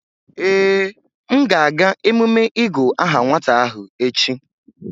Ee, m ga-aga emume ịgu aha nwata ahụ echi